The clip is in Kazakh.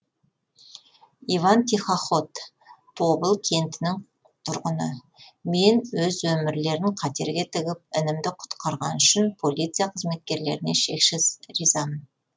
иван тихоход тобыл кентінің тұрғыны мен өз өмірлерін қатерге тігіп інімді құтқарғаны үшін полиция қызметкерлеріне шексіз ризамын